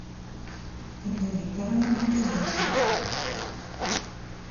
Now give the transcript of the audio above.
ольга викторовна мингалиева